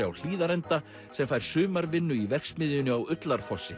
á Hlíðarenda sem fær sumarvinnu í verksmiðjunni á